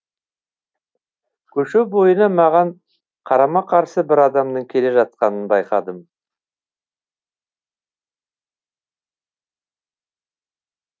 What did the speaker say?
көше бойына маған қарама қарсы бір адамның келе жатқанын байқадым